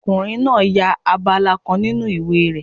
Ọkùnrin náà ya abala kan nínu ìwé náà